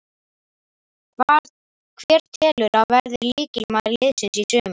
Hver telurðu að verði lykilmaður liðsins í sumar?